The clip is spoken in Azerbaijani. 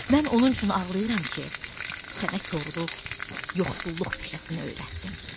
Mən onun üçün ağlayıram ki, sənə korluq, yoxsulluq peşəsini öyrətdim.